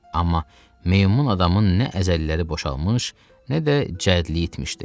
Amma meymun adamın nə əzəlləri boşalmış, nə də cədlilik etmişdi.